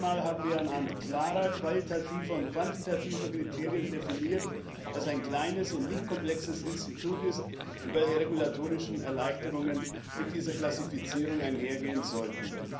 Zum ersten Mal haben wir anhand klarer qualitativer und quantitativer Kriterien definiert, was ein kleines und nicht komplexes Institut ist und daher regulatorische Erleichterungen mit dieser Klassifizierung einhergehen sollten.